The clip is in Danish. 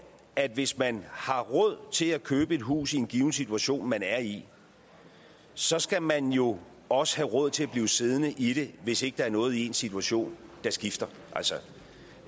at hvis man har råd til at købe et hus i den givne situation man er i så skal man jo også have råd til at blive siddende i det hvis ikke der er noget i ens situation der skifter altså